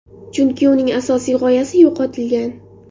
Chunki uning asosiy g‘oyasi yo‘qotilgan.